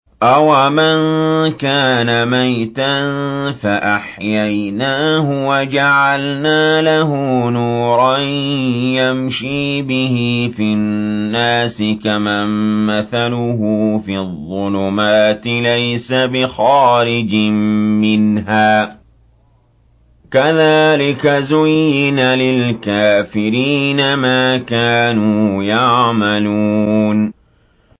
أَوَمَن كَانَ مَيْتًا فَأَحْيَيْنَاهُ وَجَعَلْنَا لَهُ نُورًا يَمْشِي بِهِ فِي النَّاسِ كَمَن مَّثَلُهُ فِي الظُّلُمَاتِ لَيْسَ بِخَارِجٍ مِّنْهَا ۚ كَذَٰلِكَ زُيِّنَ لِلْكَافِرِينَ مَا كَانُوا يَعْمَلُونَ